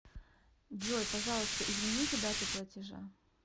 джой пожалуйста измените дату платежа